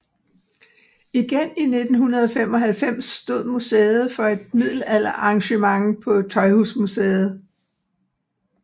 Igen i 1995 stod museet for et middelalderarrangement på Tøjhusmuseet